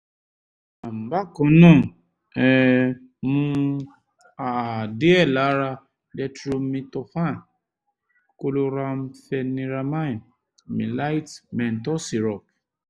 um bákan náà um mu um díẹ̀ lára dextromethorphan chlorampheniramine maleate menthol syrup